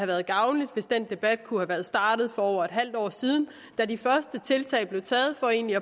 været gavnligt hvis den debat kunne være startet for over et halvt år siden da de første tiltag blev taget for egentlig